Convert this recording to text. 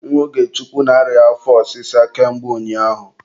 Nwa Ogechukwu na-arịa afọ ọsịsa ka mgbe ụnyaahụ